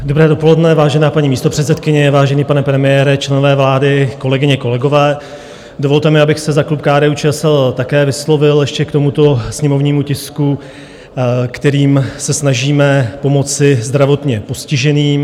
Dobré dopoledne, vážená paní místopředsedkyně, vážený pane premiére, členové vlády, kolegyně, kolegové, dovolte mi, abych se za klub KDU-ČSL také vyslovil ještě k tomuto sněmovnímu tisku, kterým se snažíme pomoci zdravotně postiženým.